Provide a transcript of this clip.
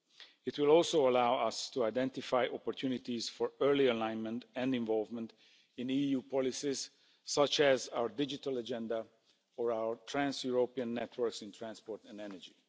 It will also allow us to identify opportunities for early alignment and involvement in EU policies, such as our digital agenda or our trans European networks in transport and energy.